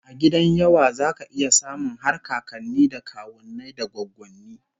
A gidan yawa zaka iya samun har kakanni da kawunnai da goggonni